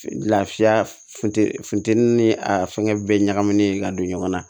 Lafiya funteni funtɛni ni a fɛngɛ bɛɛ ɲagaminen ka don ɲɔgɔn na